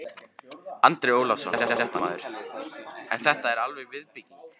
Andri Ólafsson, fréttamaður: En þetta er falleg viðbygging?